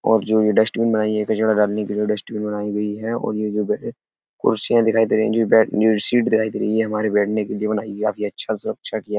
और जो ये डस्टबिन बनायी गयी है कचरा डालने के लिए डस्टबिन बनायी गयी है। और ये जो कुर्सियां दिखाई दे रही है जो बैठ जो सीट दिखायी दे रही है। हमारे बैठने के लिए बनायी गयी है। काफी अच्छा सा अच्छा किया --